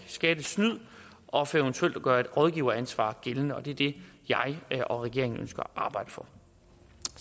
skattesnyd og eventuelt gøre et rådgiveransvar gældende og det er det jeg og regeringen ønsker at arbejde for